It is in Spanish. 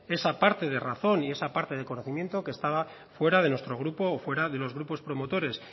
esa parte de razón y esa parte de conocimiento que estaba fuera de nuestro grupo o fuera de los grupos promotores